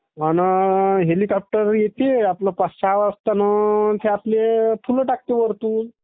म्हणं....हेलिकाप्टर येती नी पाच सहा वाजता नं....त्ये फुलं टाकते....वरतून